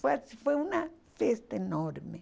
Foi ah foi uma festa enorme.